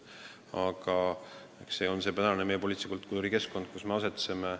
Aga see on meie poliitilise kultuuri praegune keskkond, kus me asetseme.